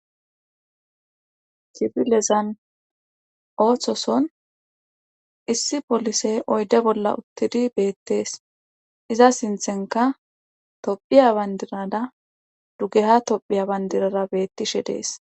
kifilezan ooththoson issi polisey oyde bolla uttidi beettees iza sinthenka tophiya bandirara dugeha tophiya bandirara beettishe dees